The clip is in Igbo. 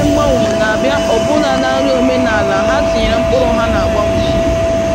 Ụfọdụ ndị na-eme mgbanwe na-abịa ọbụna na nri omenala ha tinyere mkpụrụ ha na-agbanwe.